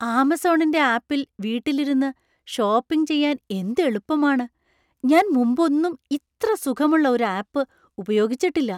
ആമസോണിൻ്റെ ആപ്പിൽ വീട്ടിൽ ഇരുന്ന് ഷോപ്പിംഗ് ചെയ്യാൻ എന്ത് എളുപ്പമാണ്; ഞാൻ മുമ്പൊന്നും ഇത്ര സുഖമുള്ള ഒരു ആപ്പ് ഉപയോഗിച്ചിട്ടില്ല!